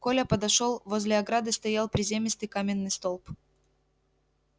коля подошёл возле ограды стоял приземистый каменный столб